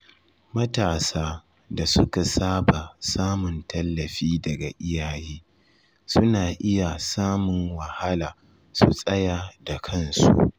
Matasa da suka saba samun tallafi daga iyaye suna iya samun wahala su tsaya da kansu.